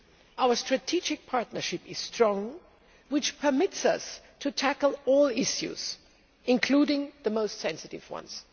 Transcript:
Our strategic partnership is strong, and this permits us to tackle all issues, including the most sensitive ones.